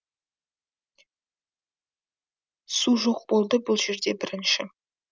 су жоқ болды бұл жерде бірінші